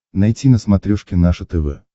найти на смотрешке наше тв